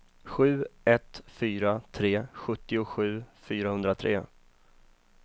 sju ett fyra tre sjuttiosju fyrahundratre